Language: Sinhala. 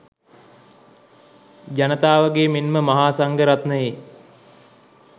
ජනතාවගේ මෙන්ම මහා සංඝරත්නයේ